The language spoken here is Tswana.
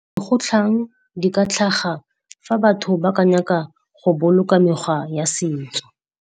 Dikgotlhang di ka tlhaga fa batho ba ka nyaka go boloka mekgwa ya setso.